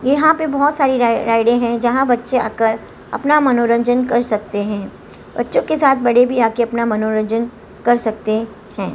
यहां पे बहोत सारी राइडें हैं जहां बच्चे आकर अपना मनोरंजन कर सकते हैं बच्चों के साथ बड़े भी आके अपना मनोरंजन कर सकते हैं।